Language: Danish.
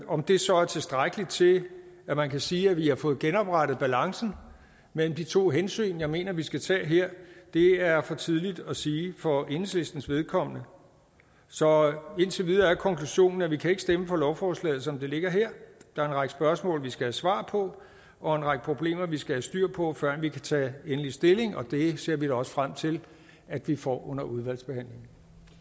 om det så er tilstrækkeligt til at man kan sige at vi har fået genoprettet balancen mellem de to hensyn jeg mener vi skal tage her er for tidligt at sige for enhedslistens vedkommende så indtil videre er konklusionen at vi ikke kan stemme for lovforslaget som det ligger her der er en række spørgsmål vi skal have svar på og en række problemer vi skal have styr på før vi kan tage endelig stilling og det ser vi da også frem til at vi får under udvalgsbehandlingen